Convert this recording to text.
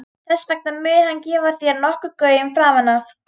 Þess vegna mun hann gefa þér nokkurn gaum framan af.